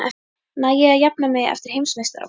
Næ ég að jafna mig fyrir heimsmeistaramótið?